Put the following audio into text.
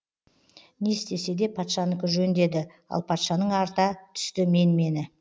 не істесе де патшанікі жөн деді ал патшаның арта түсті менмені